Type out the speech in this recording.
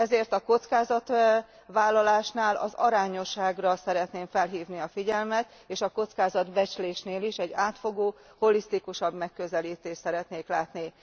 Ezért a kockázatvállalásnál az arányosságra szeretném felhívni a figyelmet, és a kockázatbecslésnél is egy átfogóbb, holisztikusabb megközelítést szeretnék látni.